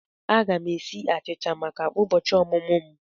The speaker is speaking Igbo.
Aga m esi achicha maka ụbọchị ọmụmụ m.